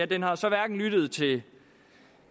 den har så hverken lyttet til